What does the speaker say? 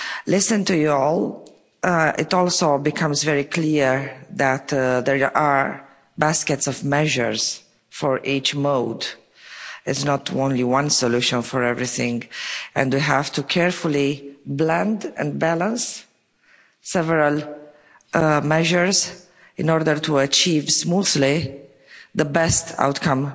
Listening to you all, it also becomes very clear that there are baskets of measures for each mode. There is not merely one solution for everything, and we have to carefully blend and balance several measures in order to achieve smoothly the best possible outcome